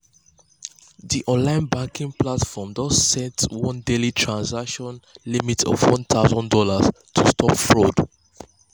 di online banking platform don set one daily transaction limit of one thousand dollars to stop fraud.